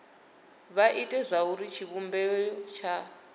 vha ite zwauri tshivhumbeo tsha